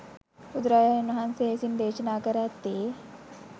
බුදුරජාණන් වහන්සේ විසින් දේශනා කර ඇත්තේ